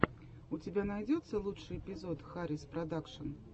у тебя найдется лучший эпизод хариспродакшн